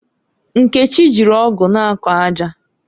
Nkechi jiri ọ̀gu na-akọ ájà